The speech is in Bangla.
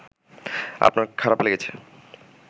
আপনার খারাপ লেগেছে